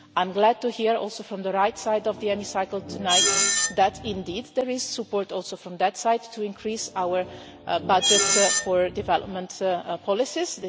I am glad to hear also from the right side of the Chamber tonight that indeed there is support also from that side to increase our budget for development policies.